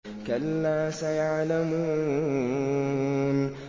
كَلَّا سَيَعْلَمُونَ